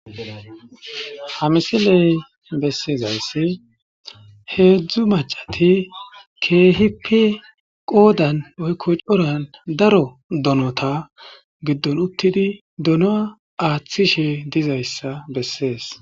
Ha missiley bessizayis hedzdzu maccati kehippe qoddan woyikko coran daro donnota giddon uttidi doona athishe dizayisa besess.